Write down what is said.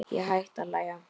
Ég hætti að hlæja.